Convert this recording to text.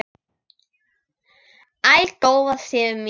Æ, góða Sif mín!